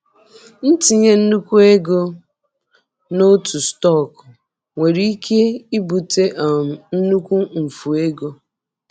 Itinye nnukwu ego n'otu stọkụ nwere ike ibute um nnukwu mfu ego.